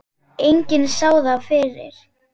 Enginn sá það fyrir.